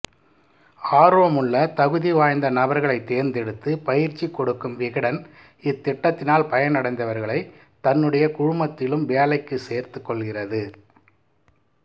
ஆர்வமுள்ள தகுதிவாய்ந்த நபர்களை தேர்ந்தெடுத்து பயிற்சி கொடுக்கும் விகடன் இத்திட்டத்தினால் பயனடைந்தவர்களை தன்னுடைய குழுமத்திலும் வேலைக்கு சேர்த்து கொள்கிறது